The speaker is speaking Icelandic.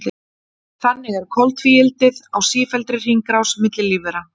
Þannig er koltvíildið á sífelldri hringrás milli lífvera.